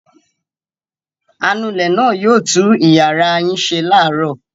Anulẹ̀ náà yóò tú ìyàrá yín ṣe láàárọ̀.